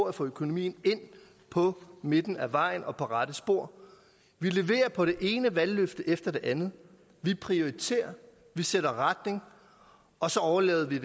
at få økonomien ind på midten af vejen og på rette spor vi leverer på det ene valgløfte efter det andet vi prioriterer vi sætter retning og så overlader vi